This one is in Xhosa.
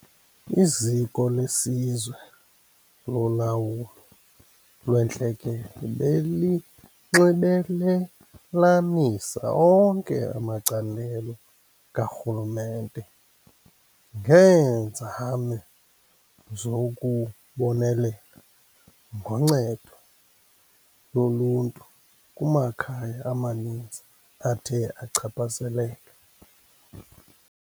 Iziko leSizwe loLawulo lweNtlekele belinxibelelanisa onke amacandelo karhulumente ngeenzame zokubonelela ngoncedo loluntu kumakhaya amaninzi athe achaphazeleka.